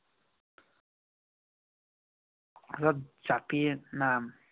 জাপি নাম।